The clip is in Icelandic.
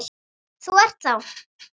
Þú ert þá.?